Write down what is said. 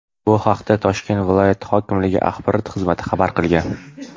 Bu haqda Toshkent viloyati hokimligi axborot xizmati xabar qilgan .